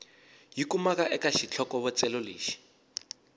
yi kumaka eka xitlhokovetselo lexi